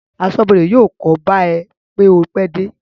Aṣọ́bọdè yóò kóbá ẹ pé o pẹ́ dé